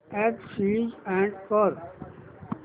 app switch on कर